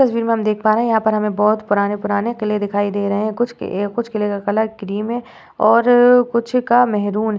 इस तस्वीर में हम देख पा रहे हैं। यहाँ पर हमें बहोत पुराने-पुराने किले दिखाई दे रहे हैं। कुछ किलों का कलर क्रीम है और कुछ का महरून।